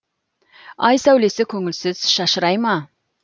ай сәулесі көңілсіз шашырай ма